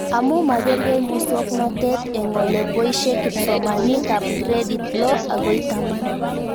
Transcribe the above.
Amu makarkei muswognatet eng' ole poishe kipsomanik ab gradit loo akoi taman